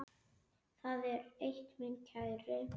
Það er eitt, minn kæri.